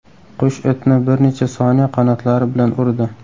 Qush itni bir necha soniya qanotlari bilan urdi.